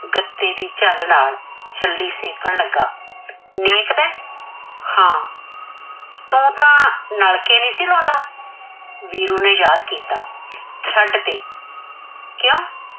ਗੱਤੇ ਦੀ ਝੱਲ ਨਾਲ ਛੱਲੀ ਸੇਕਣ ਲਗਾ। ਨੇਕਦਾ, ਹਾਂ ਤੂੰ ਤਾ ਨਲਕੇ ਨੀ ਸੀ ਲਾਉਂਦਾ। ਵੀਰੂ ਨੇ ਯਾਦ ਕੀਤਾ ਛੱਡ ਤੇ। ਕਿਉਂ?